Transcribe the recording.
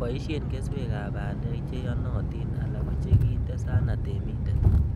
Boisien keswekab bandek cheyenotin ala kochekinde sana teminted.